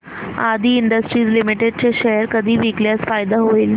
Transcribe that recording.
आदी industries limited चे share कधी विकल्यास फायदा होईल